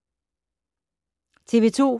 TV 2